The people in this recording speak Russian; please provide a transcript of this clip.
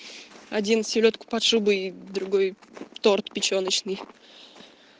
один селёдка под шубой и другой торт печёночный